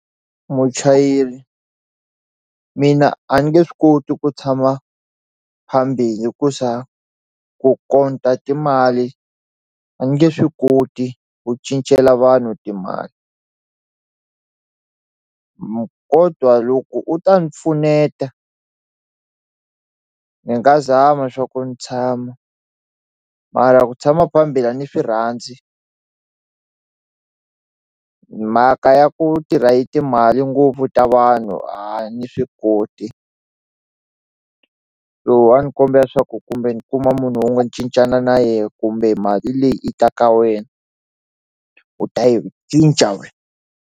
Muchayeri mina a ni nge swi koti ku tshama phambili hikusa ku timali a ni nge swi koti ku cincela vanhu timali kodwa loko u ta ni pfuneta ni nga zama swa ku ni tshama mara ku tshama a ni swi rhandzi mhaka ya ku tirha hi timali ngopfu ta vanhu a ni swi koti lowu a ndzi kombela leswaku kumbe ni kuma munhu un'we ni cincana na yena kumbe mali leyi i ta ka wena u ta yi cinca wena.